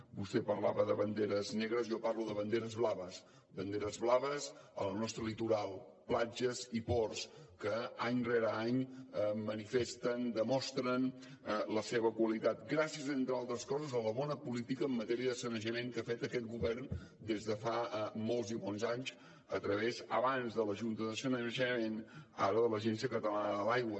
vostè parlava de banderes negres jo parlo de banderes blaves banderes blaves al nostre litoral platges i ports que any rere any manifesten demostren la seva qualitat gràcies entre altres coses a la bona política en matèria de sanejament que ha fet aquest govern des de fa molts i molts anys abans amb la junta de sanejament ara amb l’agència catalana de l’aigua